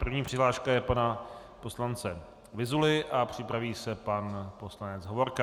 První přihláška je pana poslance Vyzuly a připraví se pan poslanec Hovorka.